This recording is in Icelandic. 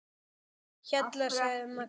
Hjalla, sagði Magga.